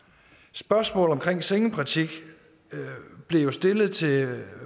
spørgsmålet om sengepraktik blev stillet til